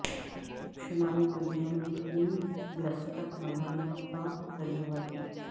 شمالی کوریا نے تین بیلسٹک میزائلوں کا تجربہ کیا